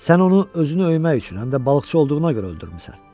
Sən onu özünü öymək üçün, həm də balıqçı olduğuna görə öldürmüsən.